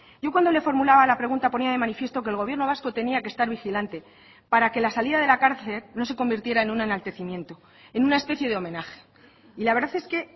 yo cuando le formulaba la pregunta ponía de manifiesto que el gobierno vasco tenía que estar vigilante para que la salida de la cárcel no se convirtiera en un enaltecimiento en una especie de homenaje y la verdad es que